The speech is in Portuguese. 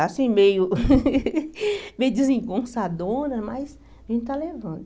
Assim, meio meio desengonçadona, mas a gente está levando.